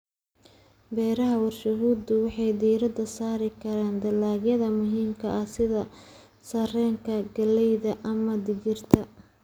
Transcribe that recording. Beeraha warshaduhu waxay diiradda saari karaan dalagyada muhiimka ah sida sarreenka, galleyda, ama digirta.